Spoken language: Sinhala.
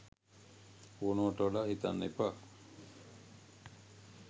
ඕනවට වඩා හිතන්න එපා.